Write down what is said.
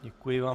Děkuji vám.